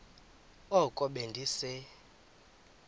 oko be ndise